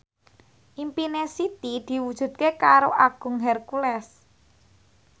impine Siti diwujudke karo Agung Hercules